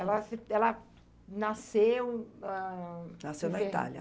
Ela assi ela nasceu, ãhn... Nasceu na Itália.